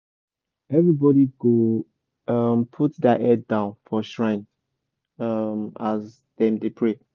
everybody go um put their head down for shrine um as dem dey pray.